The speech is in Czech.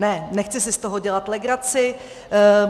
Ne, nechci si z toho dělat legraci.